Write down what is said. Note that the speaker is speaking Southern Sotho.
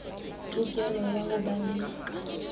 tokelo ya ho ba le